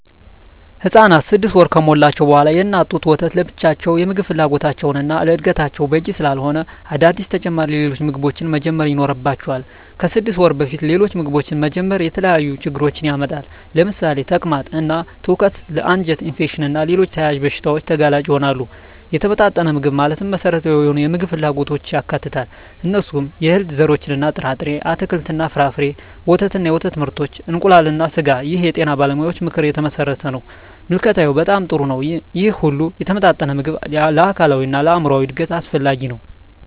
ህፃናት 6 ወር ከሞላቸው በዋላ የእናት ጡት ወተት ለብቻው የምግብ ፍላጎታቸውን እና ለዕድገታቸው በቂ ስላለሆነ አዳዲስ ተጨማሪ ሌሎች ምግቦችን መጀመር ይኖርባቸዋል። ከ6 ወር በፊት ሌሎች ምግቦችን መጀመር የተለያዩ ችግሮችን ያመጣል ለምሳሌ ተቅማጥ እና ትውከት ለ አንጀት ኢንፌክሽን እና ሌሎች ተያያዝ በሺታዎች ተጋላጭ ይሆናሉ። የተመጣጠነ ምግብ ማለት መሰረታዊ የሆኑ የምግብ ክፍሎችን ያካትታል። እነሱም፦ የእህል ዘርሮች እና ጥርጣሬ፣ አትክልት እና ፍራፍሬ፣ ወተት እና የወተት ምርቶች፣ እንቁላል እና ስጋ ይህ የጤና ባለሙያዎች ምክር የተመሠረተ ነው። ምልከታዬ በጣም ጥሩ ነው ይህ ሁሉ የተመጣጠነ ምግብ ለአካላዊ እና ለአይምራዊ እድገት አስፈላጊ ነው።